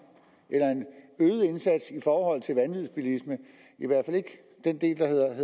eller en øget indsats i forhold til vanvidsbilisme